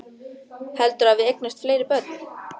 Heldurðu að við eignumst fleiri börn?